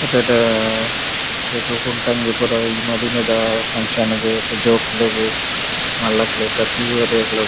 ಎಡ್ಡೆ ಎಡ್ಡೆ ಇರೆಗ್ ಕುಂಟು ಅಂಗಿ ಪುರ ಮದಿಮೆದ ಫಂಕ್ಷನ್ ಗ್ ಜೋಕುಲೆಗ್ ಮಲ್ಲಕ್ಲೆಗ್ ಪ್ರತಿ ಒರಿಯಗ್ಲಾ--